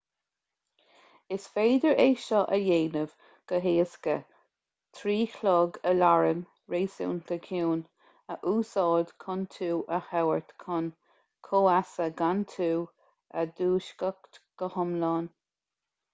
is féidir é seo a dhéanamh go héasca trí chlog aláraim réasúnta ciúin a úsáid chun tú a thabhairt chun comhfheasa gan tú a dhúiseacht go hiomlán